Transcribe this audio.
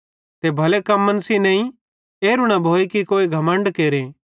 ते भले कम्मन सेइं नईं एरू न भोए कि कोई घमण्ड केरे